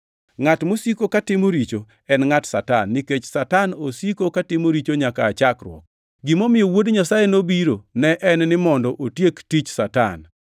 Ngʼat mosiko katimo richo en ngʼat Satan, nikech Satan osiko katimo richo nyaka aa chakruok. Gimomiyo Wuod Nyasaye nobiro ne en ni mondo otiek tich Satan.